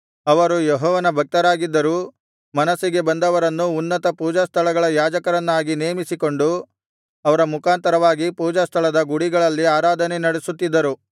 ಅವರು ಯೆಹೋವನ ಭಕ್ತರಾಗಿದ್ದರೂ ಮನಸ್ಸಿಗೆ ಬಂದವರನ್ನು ಉನ್ನತ ಪೂಜಾಸ್ಥಳಗಳ ಯಾಜಕರನ್ನಾಗಿ ನೇಮಿಸಿಕೊಂಡು ಅವರ ಮುಖಾಂತರವಾಗಿ ಪೂಜಾಸ್ಥಳದ ಗುಡಿಗಳಲ್ಲಿ ಆರಾಧನೆ ನಡಿಸುತ್ತಿದ್ದರು